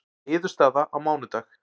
Niðurstaða á mánudag